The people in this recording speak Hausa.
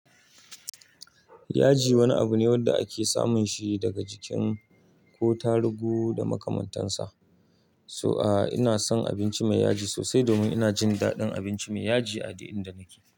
Yaji wani abu ne wanda ake samun shi daga jikin ko tarugu da makamantansa. So a, ina son abinci mai yaji sosai domin ina jin daɗin abinci mai yaji a duk adadin da nake.